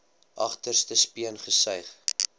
agterste speen gesuig